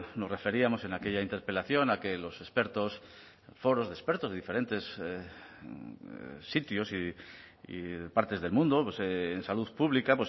nos referíamos en aquella interpelación a que los expertos foros de expertos de diferentes sitios y partes del mundo en salud pública